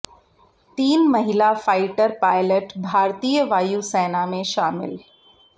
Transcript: तीन महिला fighter pilot भारतीय वायु सेना में शामिल